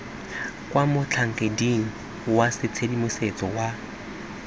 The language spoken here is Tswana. kwa motlhankeding wa tshedimosetso wa